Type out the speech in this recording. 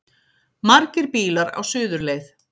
Margir bílar á suðurleið